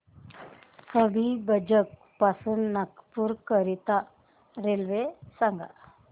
हबीबगंज पासून नागपूर करीता रेल्वे सांगा